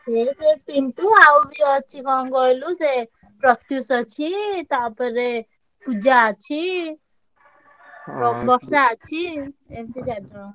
ଏକେରେ ପିଣ୍ଟୁ ଆଉ ବି ଅଛି କଣ କହିଲୁ ସେ ପ୍ରତ୍ୟୁଶ ଅଛି ତାପରେ ପୂଜା ଅଛି। ବର୍ଷା ଅଛି। ଏମତି ଚାରି ଜଣ।